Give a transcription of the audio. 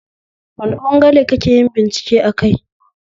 Wane ɓangare kakeyin bincike akai?